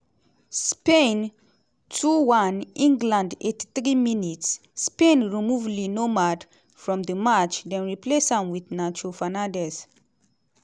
spain 2-1 england 83 mins - spain remove le normand from di match dem replace am wit nacho fernandez.